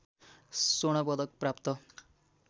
स्वर्ण पदक प्राप्त